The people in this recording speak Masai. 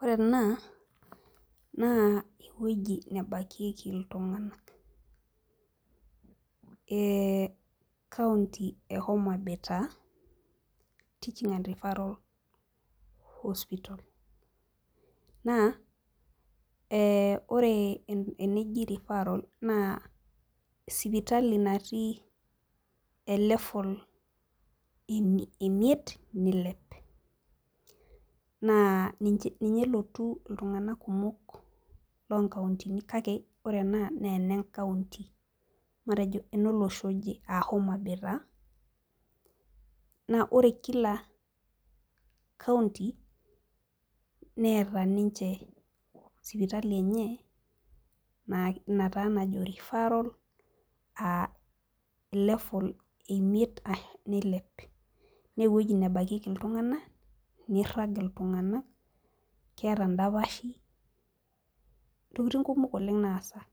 Ore ena naa ewueji nebakieki iltunganak, ee county e homabay taa teaching and referral hospital naa ee ore eneji referral sipitali natii e level e imiet neilep. naa ninye nelotu iltunganak kumok, loo nkauntini kake ore ena naa ene nkaunti matejo ene nkaunti taa naa ore Kila county neeta ninche sipitali enye Ina taa najo referral aa level eimiet nilep. naa ewueji nebakieki iltunganak nirag iltunganak keeta dapashi. ntokitin kumok oleng naasa,